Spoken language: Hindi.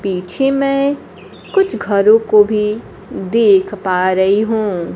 पीछे मैं कुछ घरों को भी देख पा रही हूं।